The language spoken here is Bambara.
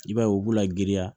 I b'a ye u b'u la girinya